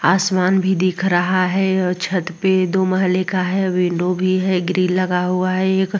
आसमान भी दिख रहा है और छत पे दो महलें का है। विंडो भी है। ग्रिल लगा हुआ है एक।